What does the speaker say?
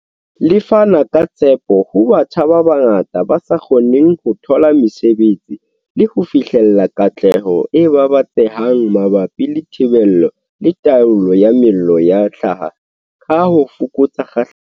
Le fana ka tshepo ho batjha ba bangata ba sa kgoneng ho thola mesebetsi le ho fihlella katleho e babatsehang mabapi le thibelo le taolo ya mello ya hlaha, ka ho fokotsa kgahlamelo ya yona.